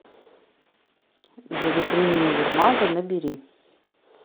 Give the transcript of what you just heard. за витриной универмага набери